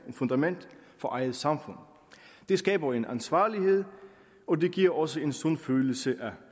fundament for eget samfund det skaber en ansvarlighed og det giver også en sund følelse af